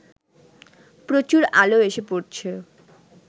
প্রচুর আলো এসে পড়ছে